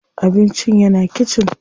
Abincin yana kitchen.